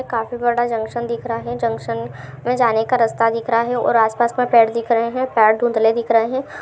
काफी बड़ा जंक्शन दिख रहा है जंक्शन में जाने का रास्ता दिख रहा है और आस-पास में पेड़ दिख रहें है और पेड़ धुंधले दिख रहे है।